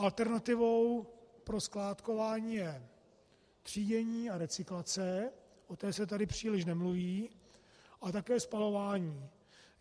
Alternativou pro skládkování je třídění a recyklace, o té se tady příliš nemluví, a také spalování.